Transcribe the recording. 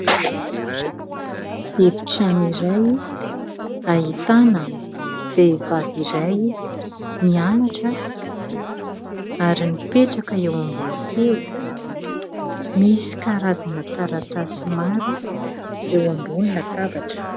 Efitrano iray : ahitana vehivavy iray mianatra, ary mipetraka eo ambony seza, misy karazana taratasy maro eo ambony latabatra.